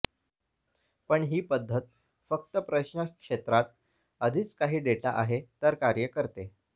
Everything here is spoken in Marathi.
पण ही पद्धत फक्त प्रश्न क्षेत्रात आधीच काही डेटा आहे तर कार्य करते